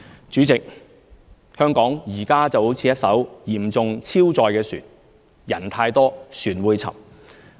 主席，香港現時就如一艘嚴重超載的船，人太多、船會沉。